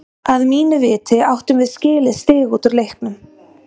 Að mínu viti áttum við skilið stig út úr leiknum.